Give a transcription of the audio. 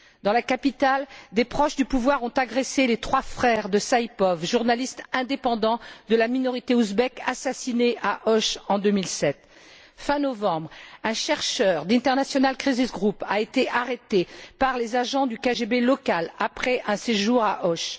Dans la capitale, des proches du pouvoir ont agressé les trois frères de Alisher Saipov, journaliste indépendant de la minorité ouzbek, assassiné à Och en 2007. Fin novembre, un chercheur d' International crisis group a été arrêté par les agents du KGB local après un séjour à Och.